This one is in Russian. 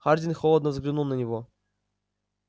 хардин холодно взглянул на него